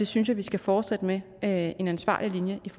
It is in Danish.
synes at vi skal fortsætte med at have en ansvarlig linje i